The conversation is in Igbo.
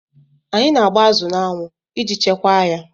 Anyị na agba azụ n'anwụ iji Chekwaa ya